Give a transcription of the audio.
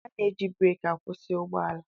A na-eji breeki akwụsị ụgbọala.